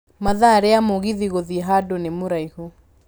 mathaa rĩa mũgithi gũthiĩ handũ nĩ muraihũ